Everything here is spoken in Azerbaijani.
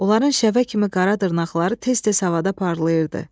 Onların şəvə kimi qara dırnaqları tez-tez havada parlayırdı.